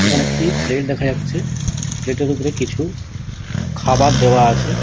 এইখানে একটি প্লেট দেখা যাচ্ছে প্লেট -এর ওপরে কিছু খাবার দেয়া আছে ।